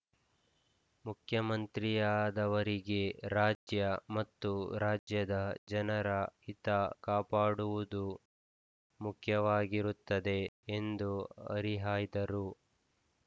ಮುಖ್ಯಮಂತ್ರಿಯಾದವರಿಗೆ ರಾಜ್ಯ ಮತ್ತು ರಾಜ್ಯದ ಜನರ ಹಿತ ಕಾಪಾಡುವುದು ಮುಖ್ಯವಾಗಿರುತ್ತದೆ ಎಂದು ಹರಿಹಾಯ್ದರು